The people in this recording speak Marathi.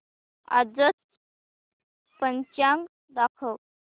आजचं पंचांग दाखव